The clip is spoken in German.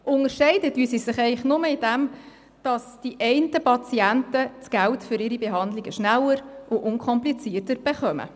Unterscheiden tun sie sich eigentlich nur darin, dass die einen Patienten das Geld für ihre Behandlungen schneller und unkomplizierter erhalten.